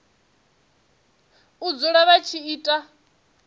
u dzula vha tshi ita